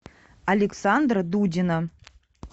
александра дудина